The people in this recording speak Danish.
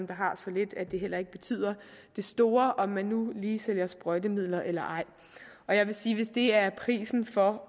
der har så lidt at det heller ikke betyder det store om de nu lige sælger sprøjtemidler eller ej jeg vil sige at hvis det er prisen for